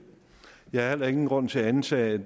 jeg har heller ingen grund til at antage